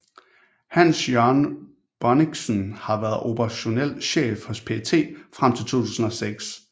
Hans Jørgen Bonnichsen har været operationel chef hos PET frem til 2006